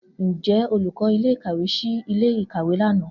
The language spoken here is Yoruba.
Njẹ olukọ ile-ikawe ṣii ile-ikawe lana?